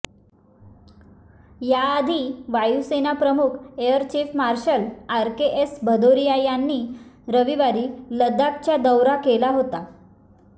याआधी वायुसेना प्रमुख air chief marshal RKS Bhadauria यांनी रविवारी लडाखच्या दौऱा केला होता